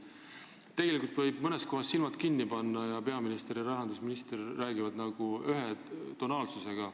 Tegelikult võiks mõnes kohas silmad kinni panna: peaminister ja rahandusminister räägivad ühe tonaalsusega.